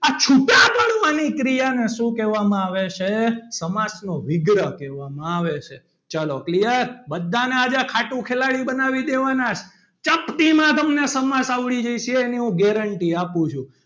આ છુટા પડી ને ક્રિયા માં શું કહેવામાં આવે છે સમાસ નો વિગ્રહ કહેવામાં આવે છે ચલો clear બધાના આજે ખાટું ખિલાડી બનાવા દેવાના ચપટી માં તમને સમાસ આવડી જશે એની હું guarantee આપું છું.